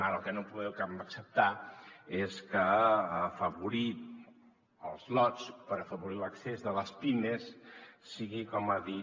ara el que no podem acceptar és que afavorir els lots per afavorir l’accés de les pimes sigui com ha dit